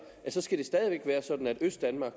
at østdanmark